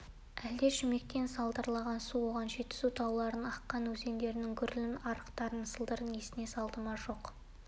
әлде шүмектен сарылдаған су оған жетісу тауларынан аққан өзендердің гүрілін арықтардың сылдырын есіне салды ма жоқ